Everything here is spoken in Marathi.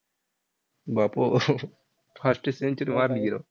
बाबो! fastest century मारली की राव.